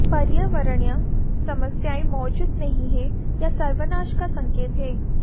पर्यावरणीय समस्याएं मौजूद नहीं हैं या सर्वनाश का संकेत हैं